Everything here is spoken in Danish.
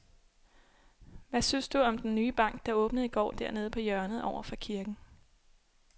Hvad synes du om den nye bank, der åbnede i går dernede på hjørnet over for kirken?